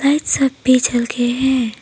छत पर चल के हैं।